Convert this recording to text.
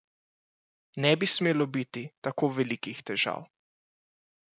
Ne bi smelo biti tako velikih težav!